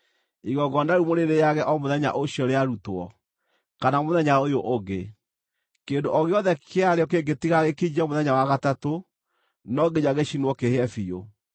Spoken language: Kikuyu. Igongona rĩu mũrĩrĩĩage o mũthenya ũcio rĩarutwo, kana mũthenya ũyũ ũngĩ; kĩndũ o gĩothe kĩa rĩo kĩngĩtigara gĩkinyie mũthenya wa gatatũ, no nginya gĩcinwo kĩhĩe biũ.